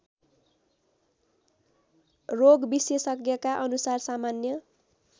रोगविशेषज्ञका अनुसार सामान्य